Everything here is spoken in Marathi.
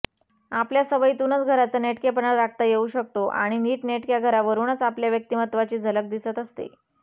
आपल्या सवयीतूनच घराचा नेटकेपणा राखता येऊ शकतो आणि नीटनेटक्या घरावरूनच आपल्या व्यक्तिमत्त्वाची झलक दिसत असते